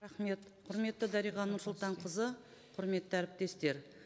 рахмет құрметті дариға нұрсұлтанқызы құрметті әріптестер